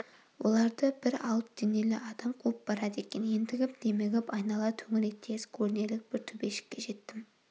оларды бір алып денелі адам қуып барады екен ентігіп-демігіп айнала төңірек тегіс көрінерлік бір төбешікке жеттім